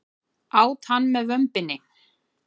Át hann með vömbinni.